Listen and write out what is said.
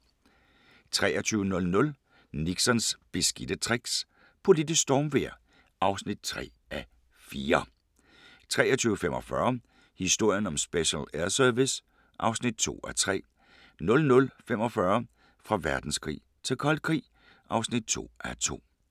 23:00: Nixons beskidte tricks - politisk stormvejr (3:4) 23:45: Historien om Special Air Service (2:3) 00:45: Fra verdenskrig til kold krig (2:2)